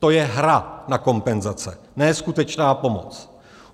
To je hra na kompenzace, ne skutečná pomoc.